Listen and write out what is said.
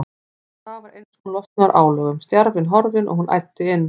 Og það var eins og hún losnaði úr álögum, stjarfinn horfinn, og hún æddi inn.